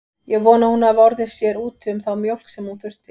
Ég vona að hún hafi orðið sér úti um þá mjólk sem hún þurfti.